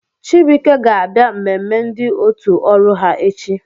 Chibuike ga-abịa mmemme ndị otu ọrụ ha echi